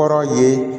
Kɔrɔ ye